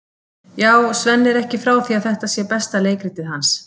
Já, Svenni er ekki frá því að þetta sé besta leikritið hans.